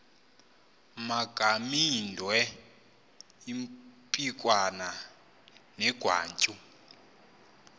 magamaindwe impikwana negwatyu